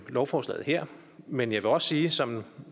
lovforslaget her men jeg vil også sige som